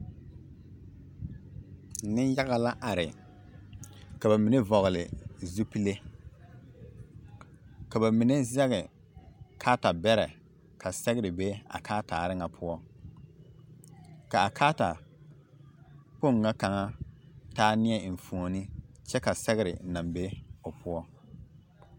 Neŋyaga la are ka bamine vɔgele zupile, ka bamine zɛge karetabɛrɛ ka sɛgere be a karetaare ŋa pkɔ, k'a karetakpoŋ ŋa kaŋa taa neɛ enfuoni kyɛ ka sɛgere naŋ be o poɔ.